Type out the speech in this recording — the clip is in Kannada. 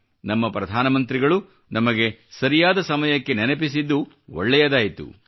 ನಮ್ಮ ಪ್ರಧಾನಮಂತ್ರಿಗಳು ನಮಗೆ ಸರಿಯಾದ ಸಮಯಕ್ಕೆ ನೆನಪಿಸಿದ್ದು ಒಳ್ಳೆಯದಾಯಿತು